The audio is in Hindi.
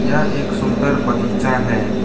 यह एक सुंदर बगीचा है।